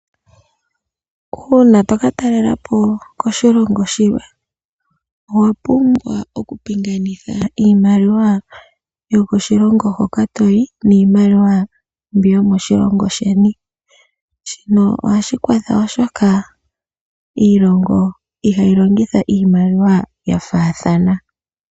Uuna toka talela po koshilongo shilwe owapumbwa oku pinganitha iimaliwa yokoshilongo hoka toyi niimaliwa mbi yomoshilongo sheni. Shino ohashi kwatha oshoka iilongo ihayi longitha iiimaliwa yafathana.